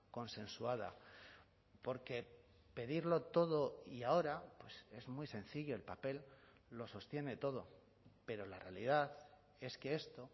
consensuada porque pedirlo todo y ahora es muy sencillo el papel lo sostiene todo pero la realidad es que esto